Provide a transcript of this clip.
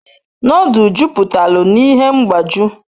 Nodul juputalu n'ihe mgbaju